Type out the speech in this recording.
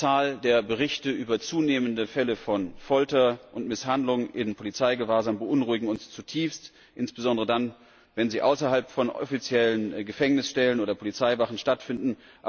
Die Berichte über zunehmende Fälle von Folter und Misshandlung in Polizeigewahrsam beunruhigen uns zutiefst, insbesondere dann, wenn sie außerhalb von offiziellen Gefängnissen oder Polizeiwachen stattfinden.